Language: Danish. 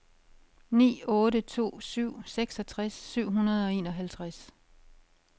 ni otte to syv seksogtres syv hundrede og enoghalvtreds